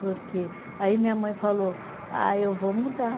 Porque, aí minha mãe falou, ah, eu vou mudar.